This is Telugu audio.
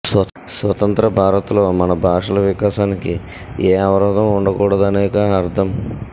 స్వతంత్ర భారత్లో మన భాషల వికాసానికి ఏ అవరోధం ఉండకూడదనేగా అర్థం